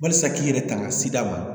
Walisa k'i yɛrɛ tanga sida ma